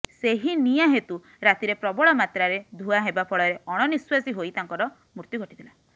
ସେହି ନିଆଁ ହେତୁ ରାତିରେ ପ୍ରବଳ ମାତ୍ରାରେ ଧୂଆଁ ହେବା ଫଳରେ ଅଣନିଶ୍ୱାସୀ ହୋଇ ତାଙ୍କର ମୃତ୍ୟୁ ଘଟିଥିଲା